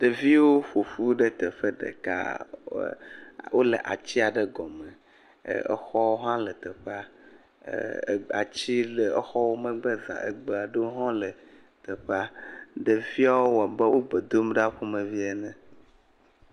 Ɖeviviwo ƒoƒu ɖe teƒe ɖeka wole atsiaɖe gɔme, exɔwo hã le teƒa, ati le exɔ megbe zã, egbe aɖewo hã le teƒa. Ɖeviawo wɔ abe gbedom ɖa ƒomevi ene.